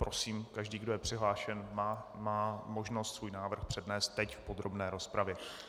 Prosím, každý, kdo je přihlášen, má možnost svůj návrh přednést teď v podrobné rozpravě.